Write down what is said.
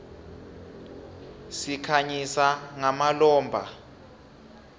sikhanyisa ngamalombha